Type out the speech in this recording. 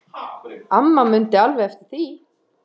Amma mundi alveg eftir því.